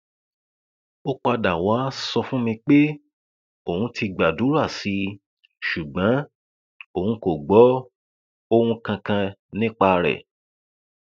ó padà wàá sọ fún mi pé òun ti gbàdúrà sí i ṣùgbọn òun kò gbọ ohun kankan nípa rẹ